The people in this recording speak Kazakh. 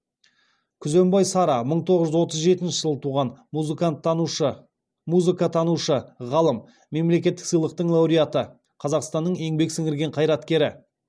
күзембай сара мың тоғыз жүз отыз жетінші жылы туған музыкатанушы ғалым мемлекеттік сыйлықтың лауреаты қазақстанның еңбек сіңірген қайраткері